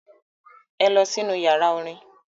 Ẹ lọ sínú ìyàrá-orin!